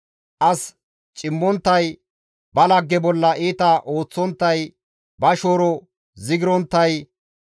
as cimmonttay, ba lagge bolla iita ooththonttay, ba shooro zigironttay,